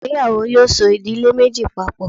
ìgbéyàwò! yoo so idile Meji papo.